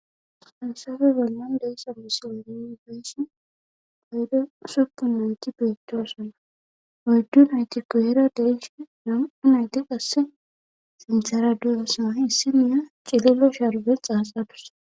Haysape bollan de7iza misilen nuni be7ishin heyden ashokka nayti beettoosona oyddu nayti goyera de7ishin nam7u nayti qassi sinthera doosona issi nayiya cililo sharbe xaaxa dus.